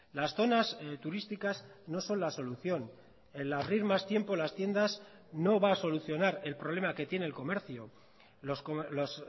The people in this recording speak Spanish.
las zonas turísticas no son la solución el abrir más tiempo las tiendas no va a solucionar el problema que tiene el comercio los